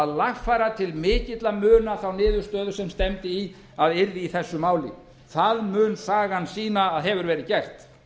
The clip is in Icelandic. lagfæra til mikilla muna þá niðurstöðu sem stefndi í að yrði í þessu máli það mun sagan sýna að hefur verið gert